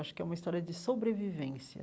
Acho que é uma história de sobrevivência.